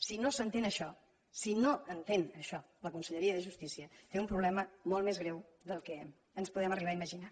si no s’entén això si no entén això la conselleria de justícia té un problema molt més greu del que ens podem arribar a imaginar